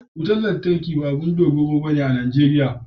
Wutar lantarki ba abin dogaro bane a Najeriya